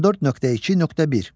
14.2.1.